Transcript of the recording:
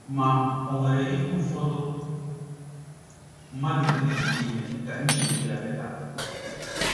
Ma, o nwere ihe ụfọdụ mmadụ nwere ike ime ka nchegbu ya belata.